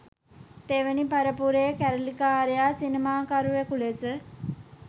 තෙවැනි පරපුරේ කැරලිකාර සිනමාකරුවකු ලෙස